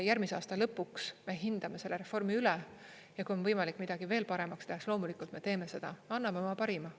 Järgmise aasta lõpuks me hindame selle reformi üle ja kui on võimalik midagi veel paremaks teha, siis loomulikult me teeme seda, anname oma parima.